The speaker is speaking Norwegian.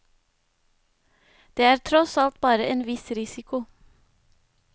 Det er tross alt bare en viss risiko.